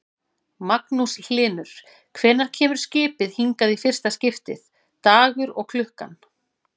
Magnús Hlynur: Hvenær kemur skipið hingað í fyrsta skiptið, dagur og klukkan?